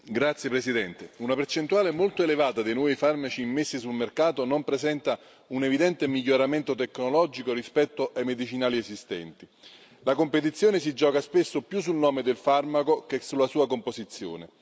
Signor Presidente, onorevoli colleghi, una percentuale molto elevata dei nuovi farmaci immessi sul mercato non presenta un evidente miglioramento tecnologico rispetto ai medicinali esistenti. La competizione si gioca spesso più sul nome del farmaco che sulla sua composizione.